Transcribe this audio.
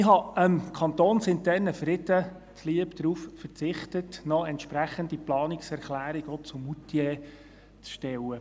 Ich habe dem kantonsinternen Frieden zuliebe darauf verzichtet, noch eine entsprechende Planungserklärung zu Moutier zu stellen.